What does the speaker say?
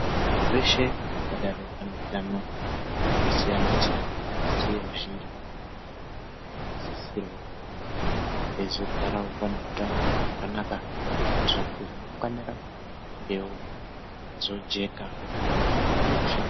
Vanthu veshe vangadaro vane utano hwakasiyana-siyana asi vazhinji vakhona vanosisirwa kunge veizogarawo vane utano hwakanaka kuitira kuti ramangwana rakhona ringewo reizojeka kudarika zvimweni zveshe.